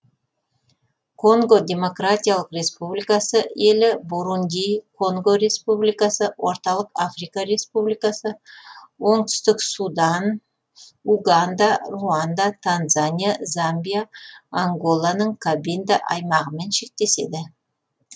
конго демократиялық республикасы елі бурунди конго республикасы орталық африка республикасы оңтүстік судан уганда руанда танзания замбия анголаның кабинда аймағымен шектеседі